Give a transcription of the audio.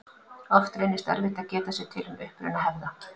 Oft reynist erfitt að geta sér til um uppruna hefða.